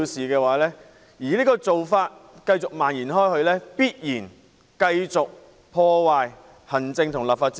假如這種做法繼續蔓延，必然進一步破壞行政立法關係。